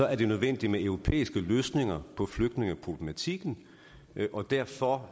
er det nødvendigt med europæiske løsninger på flygtningeproblematikken og derfor